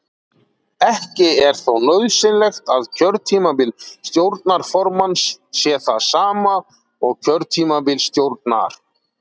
Ekki er þó nauðsynlegt að kjörtímabil stjórnarformanns sé það sama og kjörtímabil stjórnar.